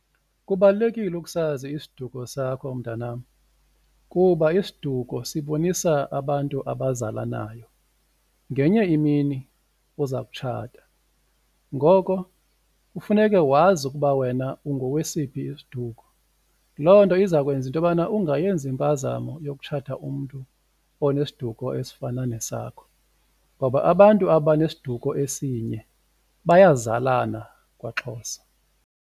Kubalulekile ukusazi isiduko sakho, mntanam, kuba isiduko sibonisa abantu abazalanayo ngenye imini uza kutshata ngoko kufuneke wazi ukuba wena ungowesiphi isiduko. Loo nto izakwenza intobana ungayenzi impazamo yokutshata umntu onesiduko esifana nesakho ngoba abantu abanesiduko esinye bayazalana kwaXhosa.